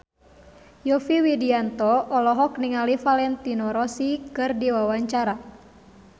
Yovie Widianto olohok ningali Valentino Rossi keur diwawancara